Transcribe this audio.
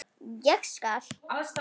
Ég skal.